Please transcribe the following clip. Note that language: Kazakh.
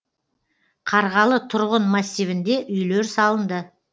қарғалы тұрғын массивінде үйлер салынды